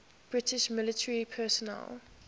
british military personnel